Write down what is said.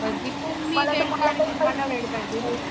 कधीपण मी पण तुम्हाला वेळ पाहिजे ना.